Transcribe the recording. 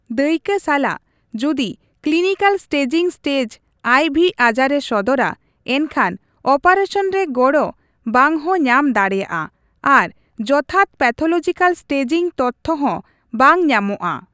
ᱫᱟᱹᱭᱠᱟᱹ ᱥᱟᱞᱟᱜ, ᱡᱩᱫᱤ ᱠᱞᱤᱱᱤᱠᱟᱞ ᱥᱴᱮᱡᱤᱝ ᱥᱴᱮᱡ ᱟᱭ ᱵᱷᱤ ᱟᱡᱟᱨᱮ ᱥᱚᱫᱚᱨᱟ, ᱮᱱᱠᱷᱟᱱ ᱚᱯᱟᱨᱮᱥᱟᱱ ᱨᱮ ᱜᱚᱲᱚ ᱵᱟᱝᱦᱚᱸ ᱧᱟᱢ ᱫᱟᱲᱮᱭᱟᱜᱼᱟ ᱟᱨ ᱡᱚᱛᱷᱟᱛ ᱯᱮᱛᱷᱚᱞᱚᱡᱤᱠᱟᱞ ᱥᱴᱮᱡᱤᱝ ᱛᱚᱛᱛᱷᱭᱚ ᱦᱚᱸ ᱵᱟᱝ ᱧᱟᱢᱚᱜᱼᱟ ᱾